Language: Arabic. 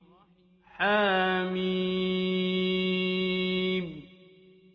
حم